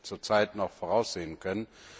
zurzeit noch voraussehen können.